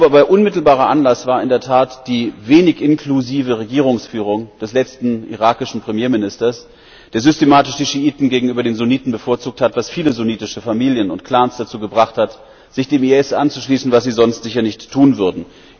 Ich glaube aber, unmittelbarer Anlass war in der Tat die wenig inklusive Regierungsführung des letzten irakischen Premierministers, der systematisch die Schiiten gegenüber den Sunniten bevorzugt hat, was viele sunnitische Familien und Clans dazu gebracht hat, sich dem IS anzuschließen, was sie sonst sicher nicht tun würden.